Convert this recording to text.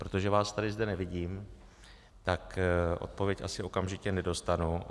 Protože vás tady zde nevidím, tak odpověď asi okamžitě nedostanu.